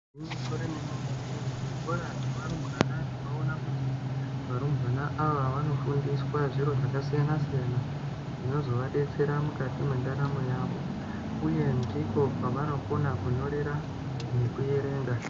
Gwinyiso remene-mene muzvikora zvevarumbwana tinoona kuti varumbwana ava vanofundiswa zviro zvakasiyana-siyana. Zvinozovadetsera mukati mendaramo yavo uye ndiko kwavanokona kunyorera nekuverenga.